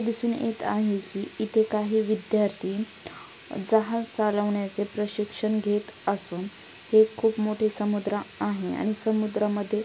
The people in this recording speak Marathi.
दिसून येत आहे की इथे काही विद्यार्थी जहाज चालवण्याचे प्रशिक्षण घेत असून ते खूप मोठे समुद्र आहे आणि समुद्रामध्ये --